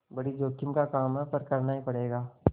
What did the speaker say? बड़ी जोखिम का काम है पर करना ही पड़ेगा